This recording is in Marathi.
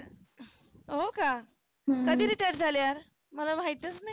हो का? कधी retired झाले यार? मला माहीतच नाही.